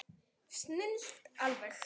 Snilld alveg!